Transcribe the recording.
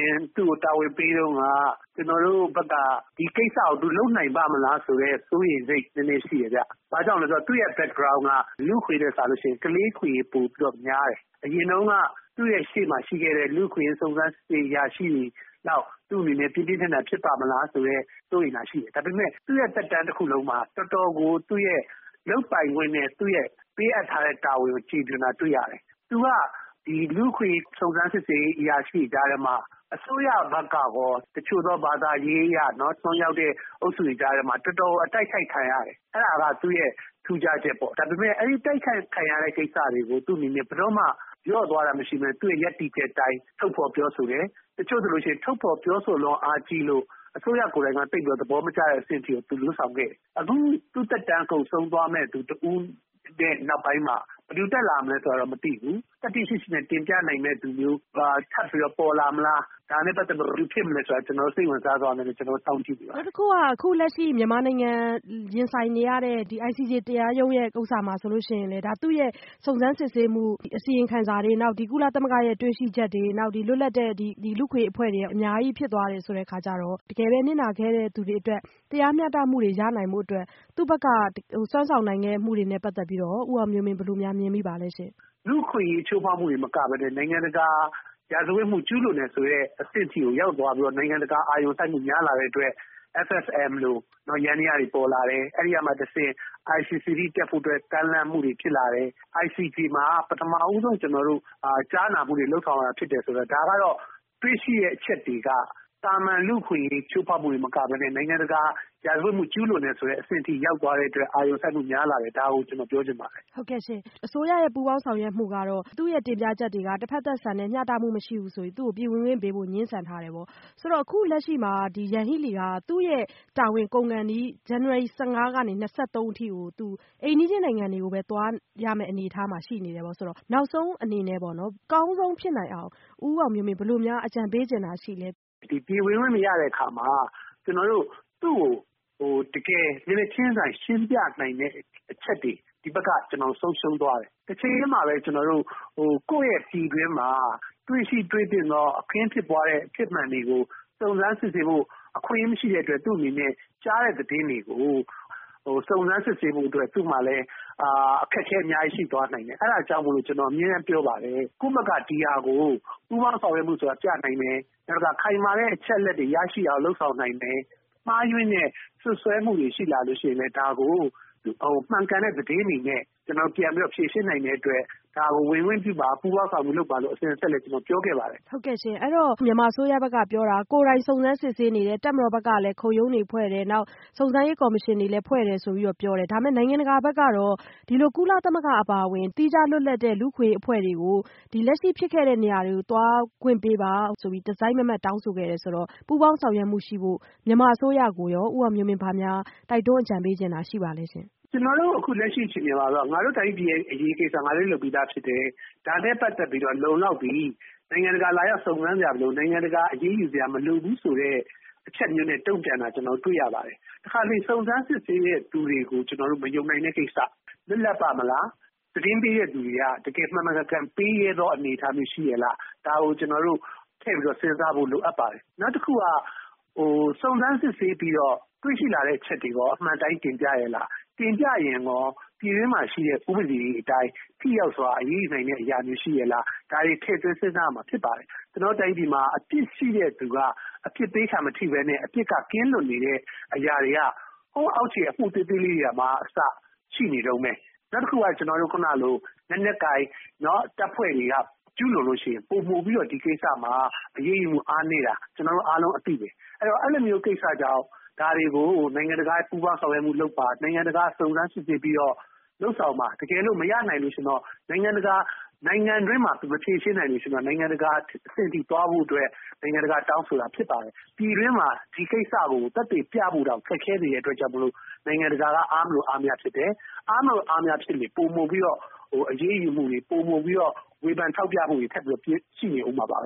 င်း သူ့ကို တာဝန်ပေးတုန်းက ကျနော်တို့ဘက်က ဒီကိစ္စကို သူလုပ်နိုင်ပါ့မလားဆိုတဲ့ စိုးရိမ်စိတ် နည်းနည်းရှိတယ်။ ဘာကြောင့်လဲဆိုတော့ သူ့ရဲ့ Background က လူ့အခွင့်ရေးထက် စာလို့ရှိရင် ကလေးအခွင့်အရေး ပိုပြီးတော့များတယ်။ အရင်တုန်းက သူ့အရှေ့မှာရှိခဲ့တဲ့ လူ့အခွင့်အရေး စုံစမ်းစစ်ဆေးရေး အရာရှိတွေလောက် သူ့အနေနဲ့ ပြင်းပြင်းထန်ထန် ဖြစ်ပါ့မလားဆိုတဲ့ စိုးရိမ်တာရှိတယ်။ ဒါပေမယ့် သူ့ရဲ့သက်တမ်းတခုလုံးမှာ တော်တော်ကို သူ့ရဲ့ လုပ်ပိုင်ခွင့်နဲ့ ပေးအပ်ထားတဲ့ တာဝန်ကို ကျေပွန်တာ တွေ့ရတယ်။ “သူက လူ့အခွင့်အရေး စုံစမ်းစစ်ဆေးရေး အရာရှိတွေကြားထဲမှာ အစိုးရဘက်ကရော တချို့သော ဘာသာရေးအရ အစွန်းရောက်တဲ့ အုပ်စုတွေကြားထဲမှာ တော်တော် အတိုက်ခိုက်ခံရတယ်။ အဲဒါက သူ့ရဲ့ ထူးခြားချက်ပေါ့။ ဒါပေမယ့် အဲဒီ တိုက်ခိုက်ခံရတဲ့ ကိစ္စတွေကို သူ့အနေနဲ့ ဘယ်တော့မှ လျော့သွားတာ မရှိဘဲ သူ့ရဲ့ ရပ်တည်ချက်အတိုင်း ထုတ်ဖော်ပြောဆိုတယ်။ တချို့ဆိုရင် ထုတ်ဖော်ပြောဆိုလွန်း အားကြီးလို့ အစိုးရကိုယ်တိုင်က သိပ်ပြီး သဘောမကျတဲ့ အဆင့်ထိကို သူလုပ်ဆောင်ခဲ့တယ်။ အခု သူ့သက်တမ်းကုန်ဆုံးသွားမယ့် နောက်ပိုင်းမှာ ဘယ်သူတက်လာမလဲ ဆိုတာတော့ မသိဘူး။ သတ္တိရှိရှိနဲ့ တင်ပြနိုင်မယ့်သူမျိုး ထပ်ပြီး ပေါ်လာမလား၊ ဒါနဲ့ပတ်သက်လို့ ဘယ်သူဖြစ်မလဲဆိုတာ စိတ်ဝင်စားစွာနဲ့ပဲ ကျနော်တို့ စောင့်ကြည့်နေပါတယ်။” အခုလက်ရှိ မြန်မာနိုင်ငံ ရင်ဆိုင်နေရတဲ့ ICJ တရားရုံးကိစ္စမှာဆိုလည်း သူ့ရဲ့ စုံစမ်းစစ်ဆေးမှု အစီရင်ခံစာတွေ၊ ကုလသမဂ္ဂရဲ့ တွေ့ရှိချက်တွေ၊ လွတ်လပ်တဲ့ လူ့အခွင့်အရေး အဖွဲ့တွေက အများကြီး ဖြစ်သွားတယ် ဆိုတဲ့အခါကျတော့ တကယ်ပဲ နစ်နာခဲ့တဲ့သူတွေအတွက် တရားမျှတမှုတွေ ရနိုင်ဖို့အတွက် သူ့ဘက်က စွမ်းဆောင်နိုင်ခဲ့မှုတွေနဲ့ ပတ်သက်ပြီးတော့ရော ဦးအောင်မျိုးမင်း ဘယ်လိုများ မြင်မိပါသလဲ။ “လူ့အခွင့်အရေး ချိုးဖောက်မှုတွေတင်မကဘဲ နိုင်ငံတကာ ရာဇဝတ်မှု ကျူးလွန်တယ်ဆိုတဲ့ အဆင့်ထိကို ရောက်သွားပြီးတော့ နိုင်ငံတကာ အာရုံစိုက်မှု များလာတဲ့အတွက် SSM လို ယန္တရားတွေ ပေါ်လာတယ်။ အဲဒီကမှတဆင့် ICC အထိ တက်ဖို့အတွက် ကမ်းလှမ်းမှုတွေ ဖြစ်လာတယ်။ ICJ မှာ ပထမဆုံး ကြားနာမှုတွေ လုပ်ဆောင်တာ ဖြစ်တယ်ဆိုတော့ ဒါကတော့ တွေ့ရှိတဲ့ အချက်တွေက သာမန် လူ့အခွင့်အရေး ချိုးဖောက်မှုတင် မကဘဲ နိုင်ငံတကာ ရာဇဝတ်မှု ကျူးလွန်တယ်ဆိုတဲ့ အဆင့်အထိ ရောက်သွားတဲ့အတွက် အာရုံစိုက်မှု များလာတယ်။ ဒါကို ကျနော်ပြောချင်ပါတယ်။” အစိုးရရဲ့ ပူးပေါင်းဆောင်ရွက်မှုကတော့ သူ့ရဲ့ တင်ပြချက်တွေက တဖက်သတ်ဆန်တယ်၊ မျှတမှုမရှိဘူးဆိုပြီး သူ့ကို ပြည်ဝင်ခွင့်ပေးဖို့ ငြင်းဆန်ထားတယ်။ ဆိုတော့ အခုလက်ရှိမှာ Yanghee Lee က သူ့ရဲ့တာဝန် ကုန်ခါနီး ဇန်နဝါရီ ၁၅ ကနေ ၂၃ အထိ အိမ်နီးချင်းနိုင်ငံတွေကိုပဲ သွားရမယ့် အနေအထားမှာ ရှိနေတယ်ဆိုတော့ နောက်ဆုံးအနေနဲ့ အကောင်းဆုံးဖြစ်နိုင်အောင် ဦးအောင်မျိုးမင်း ဘယ်လိုများ အကြံပေးချင်တာ ရှိလဲ။ “ပြည်ဝင်ခွင့်မရတဲ့အခါမှာ ကျနော်တို့ သူ့ကို တကယ် မျက်နှာချင်းဆိုင် ရှင်းပြနိုင်တဲ့ အချက်တွေ ဒီဘက်က ဆုံးရှုံးသွားတယ်။ တချိန်တည်းမှာပဲ ကိုယ့်ရဲ့ပြည်တွင်းမှာ တွေ့ရှိ တွေ့သင့်သော အခင်းဖြစ်ပွားတဲ့ အဖြစ်မှန်တွေကို စုံစမ်းစစ်ဆေးဖို့ အခွင့်အရေး မရှိတဲ့အတွက် သူ့အနေနဲ့ ကြားတဲ့သတင်းတွေကို စုံစမ်းစစ်ဆေးဖို့အတွက် သူ့မှာလည်း အခက်အခဲ အများကြီး ရှိသွားနိုင်တယ်။ အဲဒါကြောင့် ကျနော် အမြဲတမ်းပြောပါတယ်။ ကိုယ့်ဘက်က ဒီဟာကို ပူးပေါင်းဆောင်ရွက်မှုဆိုတာ ပြနိုင်မယ်၊ နောက်တခါ ခိုင်မာတဲ့ အချက်အလက်တွေ ရရှိအောင် လုပ်ဆောင်နိုင်မယ်၊ မှားယွင်းတဲ့ စွပ်စွဲမှုတွေ ရှိလာလို့ရှိရင်လည်း ဒါကို မှန်ကန်တဲ့သတင်းတွေနဲ့ ပြန်ပြီးတော့ ဖြေရှင်းနိုင်တဲ့အတွက် ဒါကို ဝင်ခွင့်ပြုပါ၊ ပူးပေါင်းဆောင်ရွက်မှု လုပ်ပါလို့ ကျနော် အစဉ်အဆက် ပြောခဲ့ပါတယ်။” အဲတော့ မြန်မာအစိုးရဘက်က ပြောတာ ကိုယ်တိုင် စုံစမ်းစစ်ဆေးနေတယ်၊ တပ်မတော်ဘက်ကလည်း ခုံရုံးတွေဖွဲ့တယ်၊ စုံစမ်းရေးကော်မရှင်တွေ ဖွဲ့တယ်ဆိုပြီးတော့ ပြောတယ်။ ဒါပေမယ့် နိုင်ငံတကာဘက်ကတော့ ဒီလို ကုလသမဂ္ဂ အပါအဝင် သီးခြားလွတ်လပ်တဲ့ လူ့အခွင့်အရေး အဖွဲ့တွေကို လက်ရှိဖြစ်ခဲ့တဲ့ နေရာတွေကို သွားခွင့်ပေးပါဆိုပြီး တစိုက်မတ်မတ် တောင်းဆိုခဲ့တယ် ဆိုတော့ ပူးပေါင်းဆောင်ရွက်မှုရှိဖို့ မြန်မာအစိုးရကိုရော ဦးအောင်မျိုးမင်း ဘာများ တိုက်တွန်း အကြံပေးချင်တာ ရှိပါသလဲ။ “ကျနော်တို့ အခုလက်ရှိ အခြေအနေမှာတာ့ ငါတို့တိုင်းပြည်ရဲ့ အရေးကိစ္စ ငါတို့လုပ်ပြီးသားဖြစ်တယ်။ ဒါနဲ့ပတ်သက်ပြီးတော့ လုံလောက်ပြီ။ နိုင်ငံတကာက လာရောက်စုံစမ်းစရာ မလိုဘူး။ နိုင်ငံတကာက အရေးယူစရာ မလိုဘူးဆိုတဲ့ အချက်မျိုးနဲ့ တုံ့ပြန်တာ တွေ့ရပါတယ်။ တခါတလေ စုံစမ်းစစ်ဆေးတဲ့ သူတွေကို ကျနော်တို့ မယုံနိုင်တဲ့ကိစ္စ၊ လွတ်လပ်ပါ့မလား၊ သတင်းပေးတဲ့သူတွေက တကယ် မှန်မှန်ကန်ကန် ပေးရဲသော အနေအထားမျိုးရော ရှိရဲ့လား၊ ဒါကို ကျနော်တို့ ထည့်ပြီးတော့ စဉ်းစားဖို့ လိုအပ်ပါတယ်။ “နောက်တခုက စုံစမ်းစစ်ဆေးပြီးတော့ တွေ့ရှိလာတဲ့ အချက်တွေရော အမှန်အတိုင်း တင်ပြရဲ့လား။ တင်ပြရင်ရော ပြည်တွင်းမှာရှိတဲ့ ဥပဒေတွေအတိုင်း ထိရောက်စွာ အရေးယူနိုင်တဲ့အရာမျိုး ရှိရဲ့လား။ ဒါတွေ ထည့်သွင်း စဉ်းစားရမှာ ဖြစ်ပါတယ်။ ကျနော်တို့တိုင်းပြည်မှာ အပြစ်ရှိတဲ့သူက အပြစ်ပေးခံမထိဘဲ အပြစ်က ကင်းလွတ်နေတဲ့ အရာတွေက ဟိုးအောက်ခြေ အမှုသေးသေးလေးတွေမှာအစ ရှိနေတုန်းပဲ။ နောက်တခုက လက်နက်ကိုင် တပ်ဖွဲ့တွေက ကျူးလွန်လို့ရှိရင် ပိုမိုပြီးတော့ ဒီကိစ္စမှာ အရေးယူမှု အားနည်းတာ ကျနော်တို့အားလုံး အသိပဲ။ အဲလိုမျိုးကိစ္စကြောင့် ဒါတွေကို နိုင်ငံတကာနဲ့ ပူးပေါင်းဆောင်ရွက်မှုလုပ်ပါ။ နိုင်ငံတကာက စုံစမ်းစစ်ဆေးပြီးတော့ လုပ်ဆောင်ပါ။ တကယ်လို့ မရနိုင်ရင်တော့ နိုင်ငံတွင်းမှာ မဖြေရှင်းနိုင်မှတော့ နိုင်ငံတကာအဆင့်ထိ သွားဖို့အတွက် နိုင်ငံတကာက တောင်းဆိုတာဖြစ်ပါတယ်။ ပြည်တွင်းမှာ ဒီကိစ္စကို သက်သေပြဖို့တောင် ခက်ခဲနေတဲ့အတွက်ကြောင့် နိုင်ငံတကာက အားမလို အားမရဖြစ်တယ်။ အားမလို အားမရဖြစ်လေ ပိုမိုပြီးတော့ အရေးယူမှုတွေ၊ ပိုမိုပြီးတော့ ဝေဖန်ထောက်ပြမှုတွေ ထပ်ပြီးတော့ ရှိနေဦးမှာပါပ